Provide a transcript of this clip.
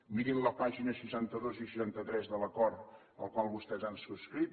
mirin la pàgina seixanta dos i seixanta tres de l’acord el qual vostès han subscrit